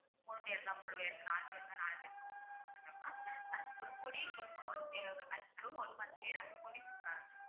மூணு பேருனா மூணு பேரு நாலு பேருன்னா நாலு பேருக்கு குடுத்துட்டு வந்துட்டோம்ன்னா அதுக்கு ஒரு பொடியும் கொடுக்கணும் அதுக்கு அப்புறம் one month லயே நாங்க பொடி கொடுக்க ஆரம்பிச்சு~